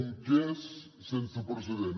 un cas sense precedents